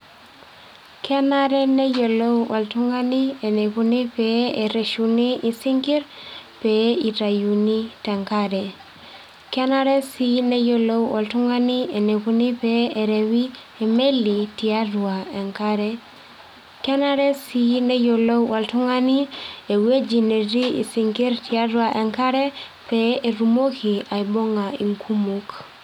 Kenare neyiolou oltung'ani enikuni pee erreshuni isinkirr, pee itayuni tenkare. Kenare si neyiolou oltung'ani enikuni pee erewi emeli tiatua enkare. Kenare si neyiolou oltung'ani ewueji metii isinkirr tiatua enkare, pee etumoki aibung'a inkumok.